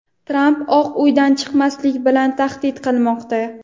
Tramp Oq uydan chiqmaslik bilan tahdid qilmoqda.